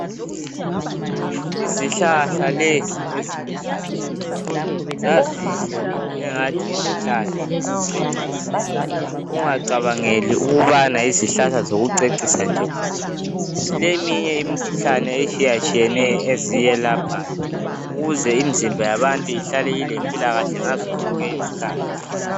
Izihlahla lezi eziluhlaza zazinhle bo engani yizihlahla zokucecisa ungacabangeli ukubana yizihlahla zokucecisa nje zileminye imikhuhlane etshiyatshiyeneyo ezilaphayo ukuze imizimba yabantu ihlale ilempilakahle ngazo zonke izikhathi